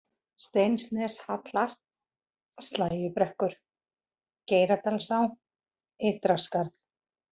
Steinsneshalar, Slægjubrekkur, Geiradalsá, Ytraskarð